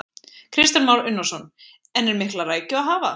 Kristján Már Unnarsson: En er mikla rækju að hafa?